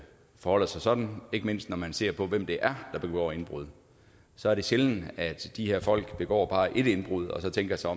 forholder sig sådan ikke mindst når man ser på hvem det er der begår indbrud så er det sjældent at de her folk begår bare et indbrud og så tænker sig